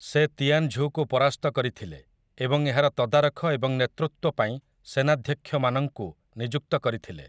ସେ ତିଆନଝୁକୁ ପରାସ୍ତ କରିଥିଲେ ଏବଂ ଏହାର ତଦାରଖ ଏବଂ ନେତୃତ୍ୱ ପାଇଁ ସେନାଧ୍ୟକ୍ଷମାନଙ୍କୁ ନିଯୁକ୍ତ କରିଥିଲେ ।